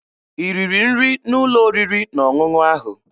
I riri nri n'ụlọ oriri na ọṅụṅụ ahụ?